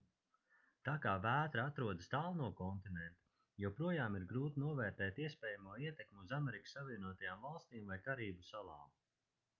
tā kā vētra atrodas tālu no kontinenta joprojām ir grūti novērtēt iespējamo ietekmi uz amerikas savienotajām valstīm vai karību salām